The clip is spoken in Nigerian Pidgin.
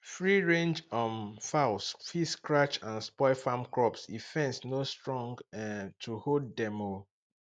free range um fowl fit scratch and spoil farm crops if fence no strong um to hold dem um